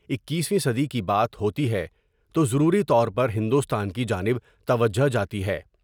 اکیسویں صدی کی بات ہوتی ہے تو ضروری طور پر ہندوستان کی جانب توجہ جاتی ہے ۔